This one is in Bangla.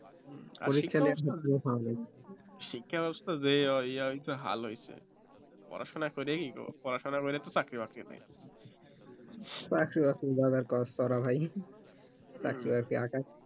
শিক্ষা ব্যাবস্থার যে ওই হাল হয়েছে পড়াশোনা করেই পড়াশোনা করেও তো চাকরি বাকরি নাই চাকরি বাকরি